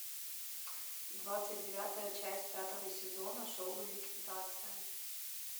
двадцать девятая часть пятого сезона шоу ликвидация